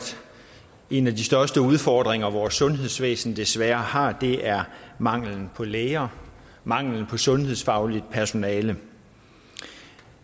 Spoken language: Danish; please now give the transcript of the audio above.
en af de største udfordringer vores sundhedsvæsen desværre har er manglen på læger manglen på sundhedsfagligt personale